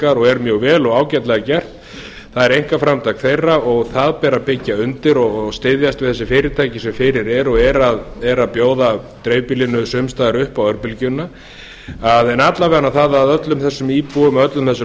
örbylgjutengingar og er mjög vel og ágætlega gert það er einkaframtak þeirra og það ber að byggja undir og styðjast við þessi fyrirtæki sem fyrir eru og eru að bjóða dreifbýlinu má staðar upp á örbylgjuna en alla vega það að öllum þessum íbúum og öllum þessum